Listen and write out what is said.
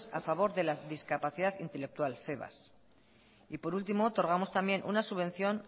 a favor de la discapacidad intelectual fevas y por último otorgamos también una subvención